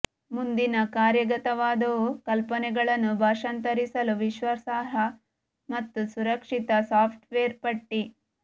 ಮುಂದಿನ ಕಾರ್ಯಗತವಾದವು ಕಲ್ಪನೆಗಳನ್ನು ಭಾಷಾಂತರಿಸಲು ವಿಶ್ವಾಸಾರ್ಹ ಮತ್ತು ಸುರಕ್ಷಿತ ಸಾಫ್ಟ್ವೇರ್ ಪಟ್ಟಿ